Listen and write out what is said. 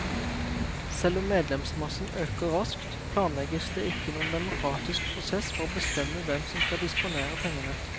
Selv om medlemsmassen øker raskt, planlegges det ikke noen demokratisk prosess for å bestemme hvem som skal disponere pengene.